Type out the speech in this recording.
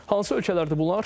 Hansı ölkələrdir bunlar?